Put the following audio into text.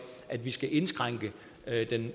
at vi skal indskrænke